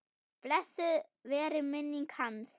Blessuð veri minning hans.